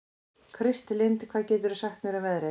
Kristlind, hvað geturðu sagt mér um veðrið?